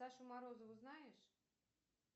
сашу морозову знаешь